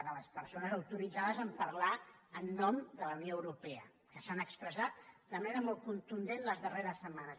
de les persones autoritzades a parlar en nom de la unió europea que s’han expressat de manera molt contundent les darreres setmanes